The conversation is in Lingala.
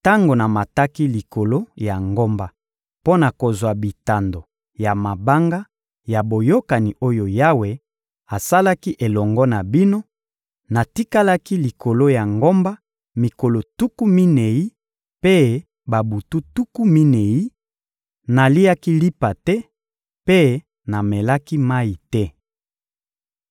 Tango namataki likolo ya ngomba mpo na kozwa bitando ya mabanga ya boyokani oyo Yawe asalaki elongo na bino, natikalaki likolo ya ngomba mikolo tuku minei mpe babutu tuku minei; naliaki lipa te mpe namelaki mayi te.